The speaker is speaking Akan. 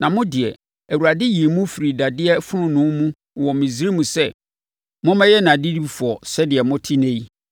Na mo deɛ, Awurade yii mo firii dadeɛ fononoo mu wɔ Misraim sɛ mommɛyɛ nʼadedifoɔ sɛdeɛ mote ɛnnɛ yi.